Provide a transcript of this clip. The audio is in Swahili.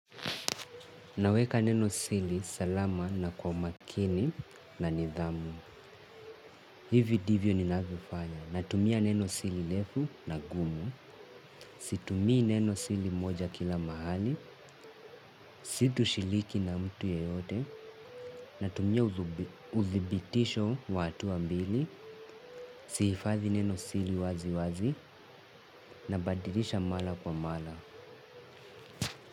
Naweka neno siri salama na kwa makini na nidhamu. Hivi ndivyo ninavyofanya. Natumia neno siri refu na gumu. Situmii neno siri moja kila mahali. Si tushiriki na mtu yeyote. Natumia uthibitisho wa hatua mbili. Sihifadhi nenosiri waziwazi. Nabadilisha mara kwa mara.